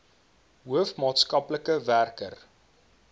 hoof maatskaplike werker